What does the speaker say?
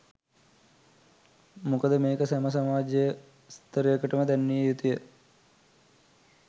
මොකද මේක සැම සමාජ ස්ථරයකටම දැන්විය යුතුයි.